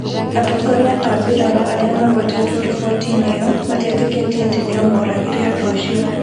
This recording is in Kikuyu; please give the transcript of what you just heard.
Atongoria a mbirarū arĩa magwetetwo riboti-inĩ ĩyo matietĩkĩtie atĩ nĩo mooragire andũ acio.